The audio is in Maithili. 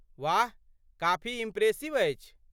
वाह, काफी इम्प्रेसिव अछि।